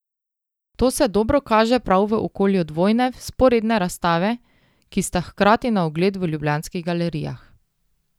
To se dobro kaže prav v okolju dvojne, vzporedne razstave, ki sta hkrati na ogled v ljubljanskih galerijah.